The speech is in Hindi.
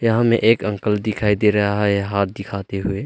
यहां में एक अंकल दिखाई दे रहा है हाथ दिखाते हुए।